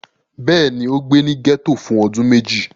Bẹ́ẹ̀ ni, ó gbé ní gẹ́tò fún ọdún méjì.